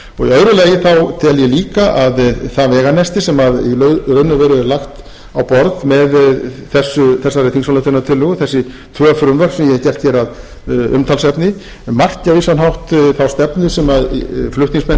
lagi tel ég líka að það veganesti sem í raun og veru er lagt á borð með þessari þingsályktunartillögu þessi tvö frumvörp sem ég hef gert hér að umtalsefni marki á vissan hátt þá stefnu sem flutningsmenn